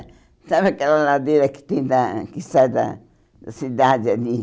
Sabe aquela ladeira que tem da que sai da da cidade ali?